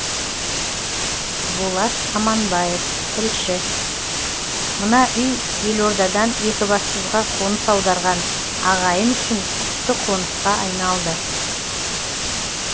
болат аманбаев тілші мына үй елордадан екібастұзға қоныс аударған ағайын үшін құтты қонысқа айналды